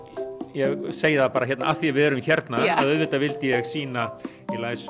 ég segði það bara af því að við erum hérna auðvitað vildi ég sýna